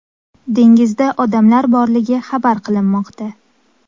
Dengizda odamlar borligi xabar qilinmoqda.